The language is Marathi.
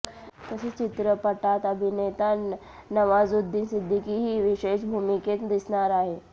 तसेच चित्रपटात अभिनेता नवाजुद्दीन सिद्दीकीही विशेष भूमिकेत दिसणार आहे